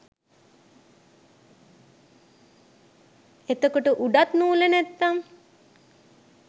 එතකොට උඩත් නූල නැත්නම්